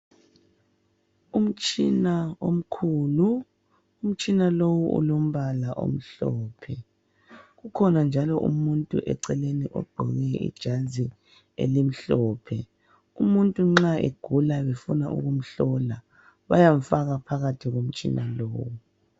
Umtshina omkhulu, umtshina lowu ulombala omhlophe. Kukhona umuntu njalo eceleni ogqoke ijazi elimhlophe. Umuntu nxa egula befuna ukumhlola bayamfaka phakathi komtshina lowu.